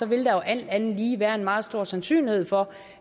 vil der alt andet lige være en meget stor sandsynlighed for